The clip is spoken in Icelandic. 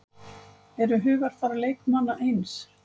Eru hugarfar leikmanna eins?